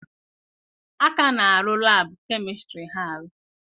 A ka na-arụ laabụ kemịstri Ha arụ.